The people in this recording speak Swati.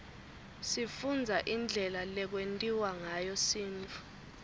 sifundza indlela lekwentiwa ngayo sintfu